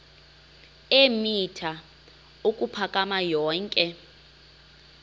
eemitha ukuphakama yonke